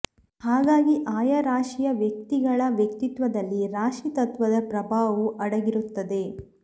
ಹಾಗಾಗಿ ಆಯಾ ರಾಶಿಯ ವ್ಯಕ್ತಿಗಳ ವ್ಯಕ್ತಿತ್ವದಲ್ಲಿ ರಾಶಿ ತತ್ವದ ಪ್ರಭಾವವೂ ಅಡಗಿರುತ್ತದೆ